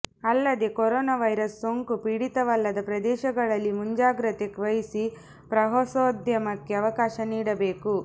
ಅಲ್ಲದೆ corona virus ಸೋಂಕು ಪೀಡಿತವಲ್ಲದ ಪ್ರದೇಶಗಳಲ್ಲಿ ಮುಂಜಾಗ್ರತೆ ವಹಿಸಿ ಪ್ರವಾಸೋದ್ಯಮಕ್ಕೆ ಅವಕಾಶ ನೀಡಬೇಕು